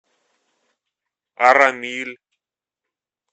арамиль